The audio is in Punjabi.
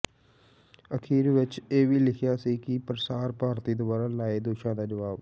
ਅਖੀਰ ਵਿਚ ਇਹ ਵੀ ਲਿਖਿਆ ਸੀ ਕਿ ਪ੍ਰਸਾਰ ਭਾਰਤੀ ਦੁਆਰਾ ਲਾਏ ਦੋਸ਼ਾਂ ਦਾ ਜਵਾਬ